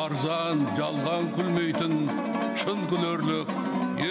арзан жалған күлмейтін шын күлерлік